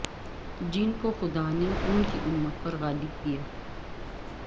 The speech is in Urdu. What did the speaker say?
جن کو خدا نے ان کی امت پر غالب کیا